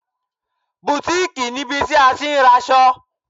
Bùtíìkì níbi tí a ti ń raṣọ.